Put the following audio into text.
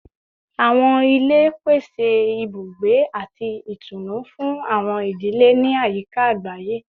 Awọn ile pese ibugbe ati itunu fun awọn idile ni ayika agbaye